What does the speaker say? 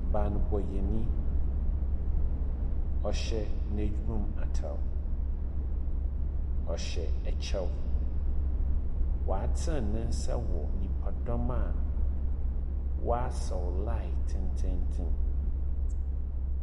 Banbɔyɛni, ɔhyɛ n'edwuma mu atar. Ɔhyɛ kyɛw. Watsen ne nsa wɔ nyipadɔm a wasa line tsentsentsen.